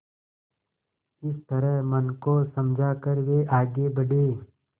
इस तरह मन को समझा कर वे आगे बढ़े